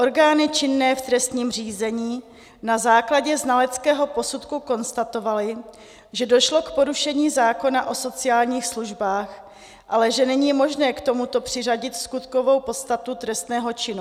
Orgány činné v trestním řízení na základě znaleckého posudku konstatovaly, že došlo k porušení zákona o sociálních službách, ale že není možné k tomuto přiřadit skutkovou podstatu trestného činu.